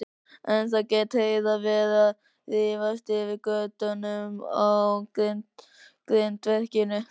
Ennþá gat Heiða verið að rífast yfir götunum á grindverkinu.